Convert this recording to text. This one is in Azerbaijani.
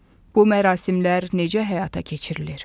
Bu mərasimlər necə həyata keçirilir?